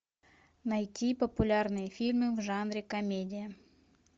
найти популярные фильмы в жанре комедия